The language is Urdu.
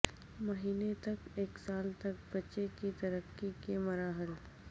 مہینے تک ایک سال تک بچے کی ترقی کے مراحل